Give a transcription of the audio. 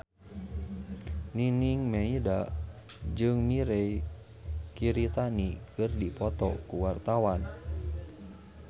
Nining Meida jeung Mirei Kiritani keur dipoto ku wartawan